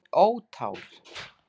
Ó tár.